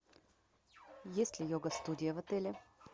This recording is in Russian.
есть ли йога студия в отеле